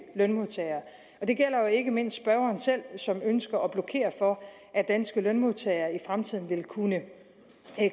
lønmodtagere det gælder jo ikke mindst spørgeren selv som ønsker at blokere for at danske lønmodtagere i fremtiden vil kunne